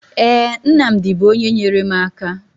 Ee, Nnamdi bụ onye nyere m aka